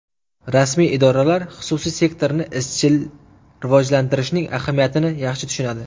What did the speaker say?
Rasmiy idoralar xususiy sektorni izchil rivojlantirishning ahamiyatini yaxshi tushunadi.